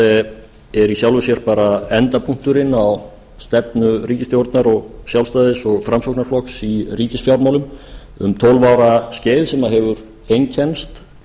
er í sjálfu sér bara endapunkturinn á stefnu ríkisstjórnar sjálfstæðis og framsóknarflokks í ríkisfjármálum um tólf ára skeið sem hefur einkennst